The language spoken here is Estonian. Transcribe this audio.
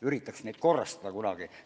Üritaks neid korrastada kunagi.